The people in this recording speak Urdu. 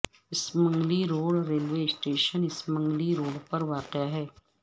Samungli road railway station Samungli road میں واقع ہے